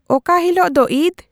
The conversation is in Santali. ᱚᱠᱟ ᱦᱤᱞᱳᱜ ᱫᱚ ᱤᱫᱽ